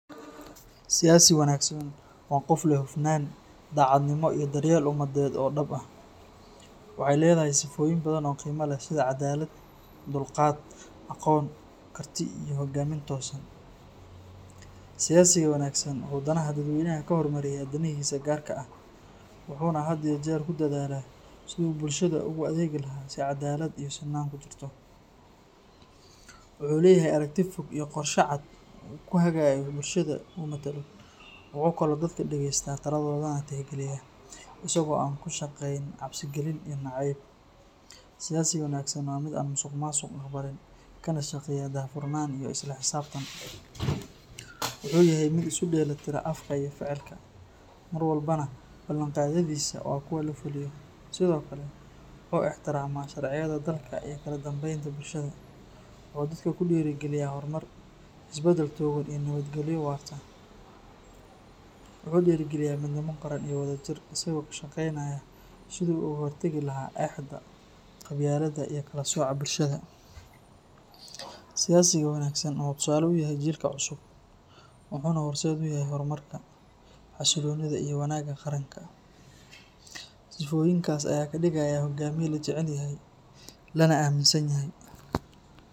Siyasi wanaagsan waa qof leh hufnaan, daacadnimo, iyo daryeel ummadeed oo dhab ah. Waxay leedahay sifooyin badan oo qiimo leh sida cadaalad, dulqaad, aqoon, karti, iyo hogaamin toosan. Siyasiga wanaagsan wuxuu danaha dadweynaha ka hormariyaa danihiisa gaarka ah, wuxuuna had iyo jeer ku dadaalaa sidii uu bulshada ugu adeegilahaa si caddaalad iyo sinnaan ku jirto. Wuxuu leeyahay aragti fog iyo qorshe cad oo uu ku hagayo bulshada uu matalo. Wuxuu kaloo dadka dhegeystaa, taladoodana tixgeliyaa, isagoo aan ku shaqayn cabsi gelin iyo nacayb. Siyasiga wanaagsan waa mid aan musuqmaasuq aqbalin, kana shaqeeya daahfurnaan iyo isla xisaabtan. Wuxuu yahay mid isu dheellitira afka iyo ficilka, mar walbana ballanqaadyadiisa waa kuwo la fuliyo. Sidoo kale, wuxuu ixtiraamaa sharciyada dalka iyo kala dambeynta bulshada. Wuxuu dadka ku dhiirrigeliyaa horumar, isbedel togan, iyo nabadgelyo waarta. Wuxuu dhiirrigeliyaa midnimo qaran iyo wadajir, isagoo ka shaqeynaya sidii uu uga hortagi lahaa eexda, qabyaaladda, iyo kala sooca bulshada. Siyasiga wanaagsan wuxuu tusaale u yahay jiilka cusub, wuxuuna horseed u yahay horumarka, xasilloonida, iyo wanaagga qaranka. Sifooyinkaas ayaa ka dhigaya hogaamiye la jecel yahay, lana aaminsan yahay.